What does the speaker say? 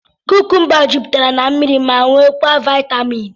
Kúkúmba juputere n'mmiri ma nwee kwaa vitaaminu.